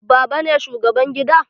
Baban ne shugaban gida?